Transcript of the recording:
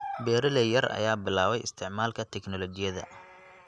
Beeralay yar ayaa bilaabay isticmaalka tignoolajiyada.